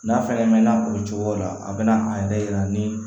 N'a fɛngɛ mɛnna o cogo la a bɛna an yɛrɛ yira ni